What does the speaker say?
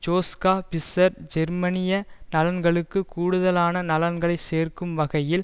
Joschka Fischer ஜெர்மனிய நலன்களுக்குக் கூடுதலான நலன்களை சேர்க்கும் வகையில்